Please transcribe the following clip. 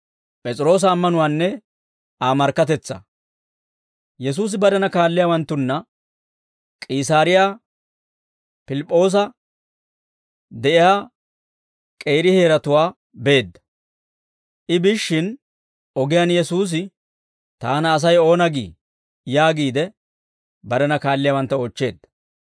Yesuusi barena kaalliyaawanttunna K'iisaariyaa Piliip'p'oosa de'iyaa k'eeri heeratuwaa beedda; I biishshin ogiyaan Yesuusi, «Taana Asay oona gii?» yaagiide barena kaalliyaawantta oochcheedda.